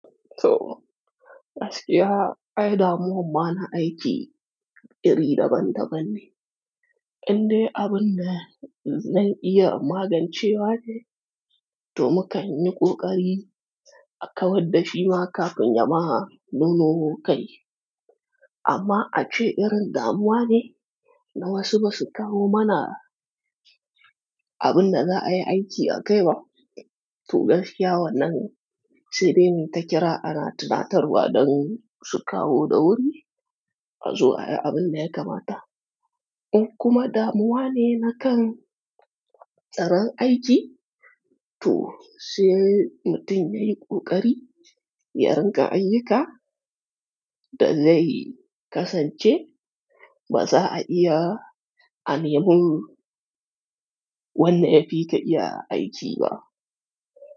To, gaskiya, ai damuwan ma na aiki iri daban-daban ne. Inde abun da zan iya magancewa ne, to mukan yi ƙoƙari a kawar da shi ma kafin ya ma nuno kai. Amma ace irin damuwa ne da wasu ba su kawo mana abun da za a yi aiki a kai ba. To gaskiya wannan saide muyi ta kira ana tunatarwa don su kowa da wuri, a zo ayi abun da ya kamata. Kuma damuwa ne na kan tsaron aiki. To, shi mutum ya yi ƙoƙari, yarin ga ayyika, da zai kasance ba za a iya a ne mun wanda yafi ka iya aiki ba.